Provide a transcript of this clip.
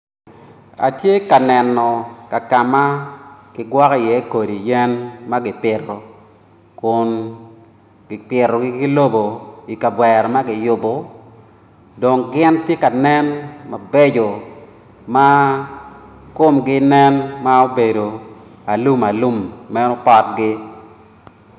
Atye ka neno ka ma ki gwoko iye kodi yen ma gipito kun gipitogi ki lobo i kavera ma kiyubo dong gin ti ka nen mabeco ma kumgi nen ma obedo alum alum meno potgi